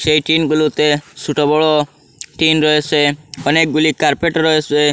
এই টিনগুলোতে সোটো বড়ো টিন রয়েসে অনেকগুলি কার্পেট রয়েসে।